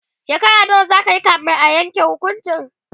shekara nawa zakayi kamin a Yanke hukuncin?